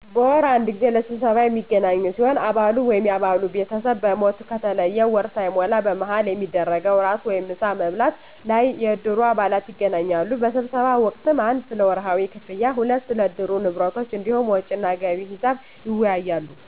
በወር አንድ ጊዜ ለስብሰባ የሚገናኙ ሲሆን አባሉ ወይም የአባሉ ቤተሰብ በሞት ከተለየ ወር ሳይሞላ በመሀል በሚደረገዉ ራት ወይም ምሳ ማብላት ላይ የእድሩ አባላት ይገናኛሉ በስብሰባ ወቅትም 1 ስለወርሀዊ ክፍያ ክፍያ 2 ስለእድሩ ንብረቶች እንዲሁም ወጭና ገቢ ሒሳብ ይወያያሉ